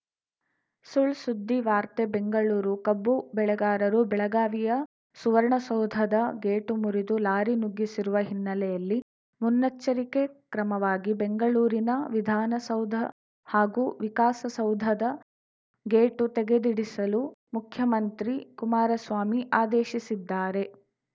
ಸುಳ್‌ಸುದ್ದಿ ವಾರ್ತೆ ಬೆಂಗಳೂರು ಕಬ್ಬು ಬೆಳೆಗಾರರು ಬೆಳಗಾವಿಯ ಸುವರ್ಣಸೌಧದ ಗೇಟು ಮುರಿದು ಲಾರಿ ನುಗ್ಗಿಸಿರುವ ಹಿನ್ನೆಲೆಯಲ್ಲಿ ಮುನ್ನೆಚ್ಚರಿಕೆ ಕ್ರಮವಾಗಿ ಬೆಂಗಳೂರಿನ ವಿಧಾನಸೌಧ ಹಾಗೂ ವಿಕಾಸಸೌಧದ ಗೇಟು ತೆಗೆಸಿಡಲು ಮುಖ್ಯಮಂತ್ರಿ ಕುಮಾರಸ್ವಾಮಿ ಆದೇಶಿಸಿದ್ದಾರೆ